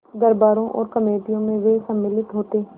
दरबारों और कमेटियों में वे सम्मिलित होते